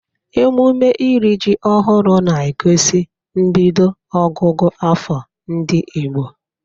Emume iri ji ọhụrụ na-egosi mbido ọgụgụ afọ ndị Igbo.